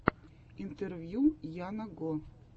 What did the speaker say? интервью яна го